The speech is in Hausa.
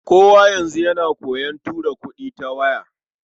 Kowa yanzu yana koyon tura kuɗi ta waya.